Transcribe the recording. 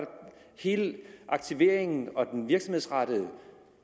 hele aktiveringen og den virksomhedsrettede